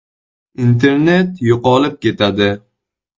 “Internet yo‘qolib ketadi.